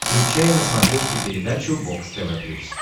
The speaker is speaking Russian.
включай на смотрешке передачу бокс тв плюс